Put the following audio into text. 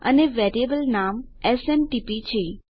અને વેરીએબલ નામ એસએમટીપી છે